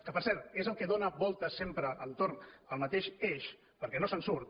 que per cert és el que dóna voltes sempre entorn del mateix eix perquè no se’n surt